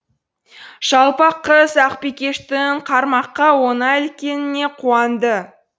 жалпақ қыз ақбикештің қармаққа оңай іліккеніне қуанды